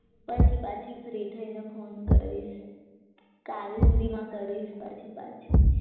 પછી પાછી ફ્રી થઈને કોલ ફોન કરીશ કાલ સુધીમાં કરીશ પછી પાછી